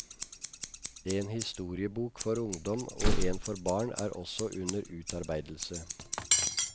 En historiebok for ungdom og en for barn er også under utarbeidelse.